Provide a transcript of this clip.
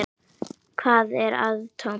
Hvað er atóm?